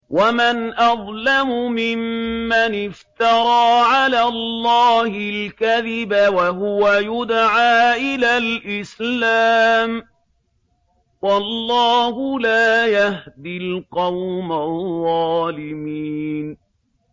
وَمَنْ أَظْلَمُ مِمَّنِ افْتَرَىٰ عَلَى اللَّهِ الْكَذِبَ وَهُوَ يُدْعَىٰ إِلَى الْإِسْلَامِ ۚ وَاللَّهُ لَا يَهْدِي الْقَوْمَ الظَّالِمِينَ